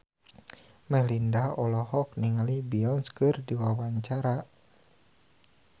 Melinda olohok ningali Beyonce keur diwawancara